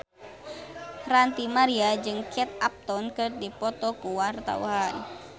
Ranty Maria jeung Kate Upton keur dipoto ku wartawan